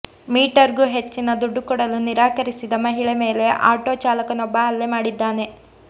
metre ಗೂ ಹೆಚ್ಚಿನ ದುಡ್ಡು ಕೊಡಲು ನಿರಾಕರಿಸಿದ ಮಹಿಳೆ ಮೇಲೆ ಆಟೋ ಚಾಲಕನೊಬ್ಬ ಹಲ್ಲೆ ಮಾಡಿದ್ದಾನೆ